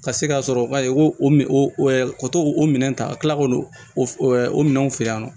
Ka se ka sɔrɔ ka o to o minɛn ta ka kila k'o minɛnw feere yan nɔ